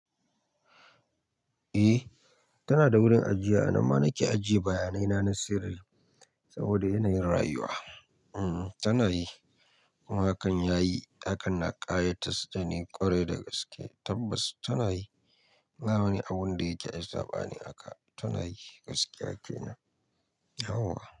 Eh, tana da wurin ajiya. Nan ma nake ajiye bayanai na na sirri saboda yanayin rayuwa. Hmm, tana yi. Hakan yayi, hakan na ƙayatar da ni kwarai da gaske tabbas tana yi. Ba wani abun da yake ai saɓani aka, tana yi gaskiya kenan. Yauwa.